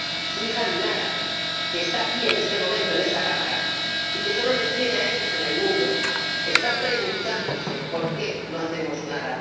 Su hija Dinara, que está aquí en este momento, en esta Cámara, y que solo les tiene a ellos en el mundo, está preguntándose por qué no hacemos nada.